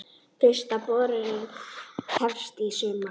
Fyrsta borunin hefst í sumar.